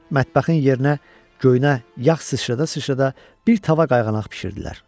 Mətbəxin yerinə göyünə yağ sıçrıdada sıçrıdada bir tava qayğanaq bişirdilər.